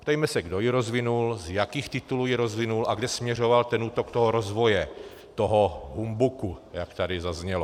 Ptejme se, kdo ji rozvinul, z jakých titulů ji rozvinul a kam směřoval ten útok toho rozvoje toho humbuku, jak tady zaznělo.